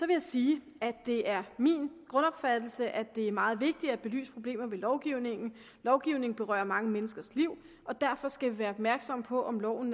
jeg sige at det er min grundopfattelse at det er meget vigtigt at belyse problemer ved lovgivningen lovgivningen berører mange menneskers liv og derfor skal være opmærksomme på om loven